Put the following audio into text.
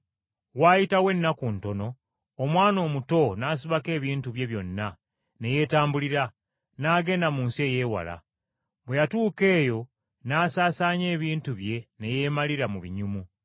“Waayitawo ennaku ntono, omwana omuto n’asibako ebintu bye byonna ne yeetambulira, n’agenda mu nsi ey’ewala. Bwe yatuuka eyo n’asaasaanya ebintu bye ne yeemalira mu binyumu.